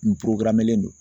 N don